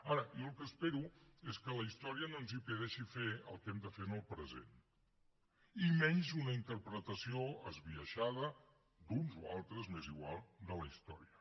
ara jo el que espero és que la història no ens impedeixi fer el que hem de fer en el present i menys una interpretació esbiaixada d’uns o altres m’és igual de la història